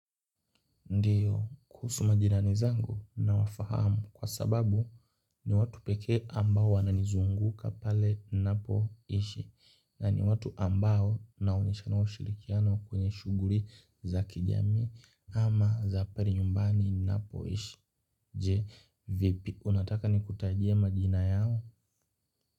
Ndiyo kuhusu majirani zangu na wafahamu kwa sababu ni watu pekee ambao wanani zunguka pale napo ishi na ni watu ambao na unishano shirikiano kwenye shuguri za kijami ama za pari nyumbani ninapo ishi je vipi unataka ni kutajie majina yao.